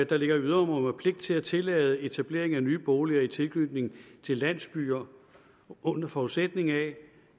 der ligger i yderområderne pligt til at tillade etablering af nye boliger i tilknytning til landsbyer under forudsætning af